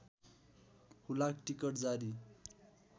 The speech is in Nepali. हुलाक टिकट जारी